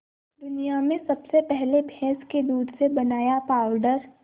दुनिया में सबसे पहले भैंस के दूध से बनाया पावडर